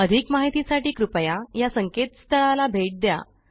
अधिक माहितीसाठी कृपया या संकेतस्थळाला भेट द्या